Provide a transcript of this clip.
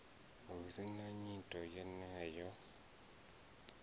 hu si na nyito yeneyo